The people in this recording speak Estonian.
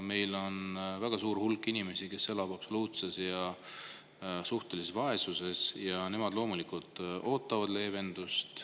Meil on väga suur hulk inimesi, kes elavad absoluutses või suhtelises vaesuses, ja nemad muidugi ootavad leevendust.